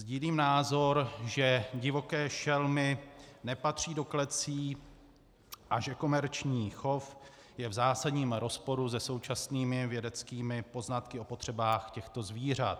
Sdílím názor, že divoké šelmy nepatří do klecí a že komerční chov je v zásadním rozporu se současnými vědeckými poznatky o potřebách těchto zvířat.